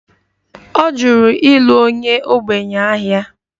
Ọ jụrụ ịlụ onye ogbenye ahịa